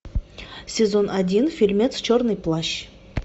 сезон один фильмец черный плащ